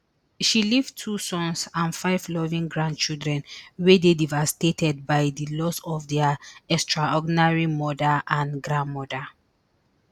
she leave two sons and five loving grandchildren wey dey devastated by di loss of dia extraordinary mother and grandmother